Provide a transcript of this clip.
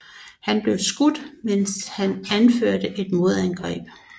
Han blev skudt mens han anførte et modangreb